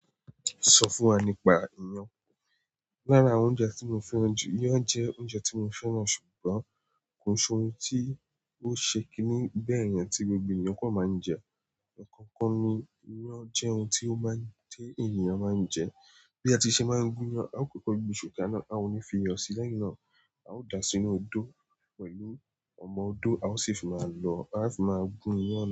Sọ fún wa nípa iyán. Lára àwọn oúnjẹ tí mo fẹ́ràn jù, iyán jẹ́ oúnjẹ tí mo fẹ́ràn ṣùgbọ́n kò ṣe ohun tí ó ṣe kíní bẹ́ẹ̀ yẹn tí gbogbo èèyàn kan máa ń jẹ. Akọkọ ni iyán jẹ́ ohun tí ènìyàn máa ń jẹ. Bi a ti se maa n gun iyan, a kọkọ gbé isu kaná, a o ni fi iyò sii, lẹ́yìn náà, a o dáa sínú odò pẹ̀lú ọmọ odo a sii fi máa lọ. A á fi máa gun iyán.